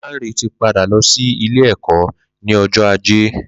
Lanre ti pádá lọ si ilé ẹkọ ni ọjọ àjé